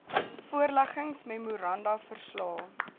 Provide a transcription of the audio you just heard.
voorleggings memoranda verslae